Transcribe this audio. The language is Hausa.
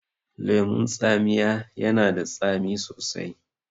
Lemun tsamiya yana da tsami sosai